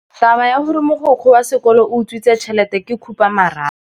Taba ya gore mogokgo wa sekolo o utswitse tšhelete ke khupamarama.